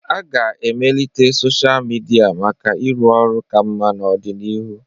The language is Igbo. A ga-emelite sochịa midia maka ịrụ ọrụ ka mma n'ọdịnihu.